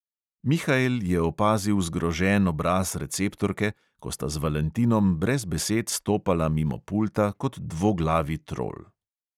Mihael je opazil zgrožen obraz receptorke, ko sta z valentinom brez besed stopala mimo pulta kot dvoglavi trol.